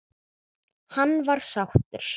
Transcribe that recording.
Hann var sáttur.